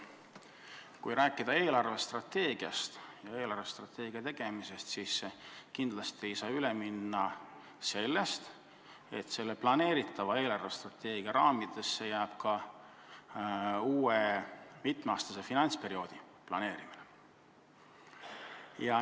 Kui rääkida eelarvestrateegiast ja selle tegemisest, siis kindlasti ei saa üle minna sellest, et planeeritava eelarvestrateegia raamidesse jääb ka uue mitme aasta pikkuse finantsperioodi kavandamine.